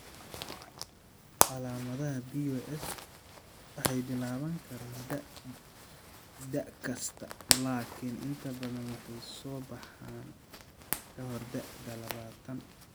Calaamadaha BOS waxay bilaaban karaan da' kasta, laakiin inta badan waxay soo baxaan ka hor da'da labatan.